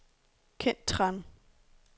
Kent Tran